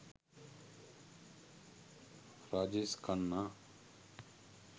rajesh khanna